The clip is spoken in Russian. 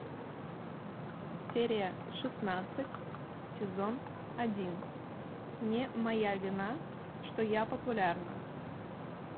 серия шестнадцать сезон один не моя вина что я популярна